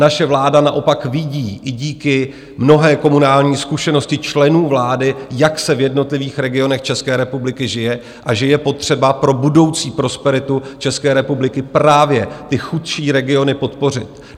Naše vláda naopak vidí, i díky mnohé komunální zkušenosti členů vlády, jak se v jednotlivých regionech České republiky žije a že je potřeba pro budoucí prosperitu České republiky právě ty chudší regiony podpořit.